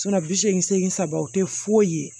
bi seegin segin saba o te foyi ye